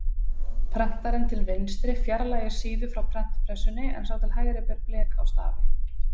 Prentarinn til vinstri fjarlægir síðu frá prentpressunni en sá til hægri ber blek á stafi.